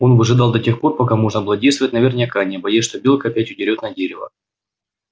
он выжидал до тех пор пока можно было действовать наверняка не боясь что белка опять удерёт на дерево